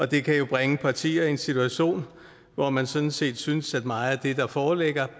det kan jo bringe partier en situation hvor man sådan set synes at meget af det der foreligger